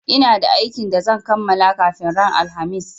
Ina da aikin da zan kamala kafin ran alhamis